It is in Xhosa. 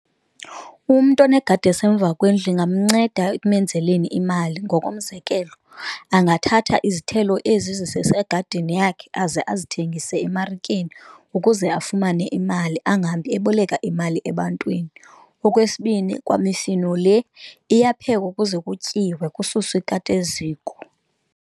Umntu onegadi esemva kwendlu ingamnceda ekumenzeleni imali. Ngokomzekelo, angathatha izithelo ezi zisegadini yakhe aze azithengise emarikeni ukuze afumane imali angahambi eboleka imali ebantwini. Okwesibini, kwamifino le iyaphekwa ukuze kutyiwe kususwe ikati eziko.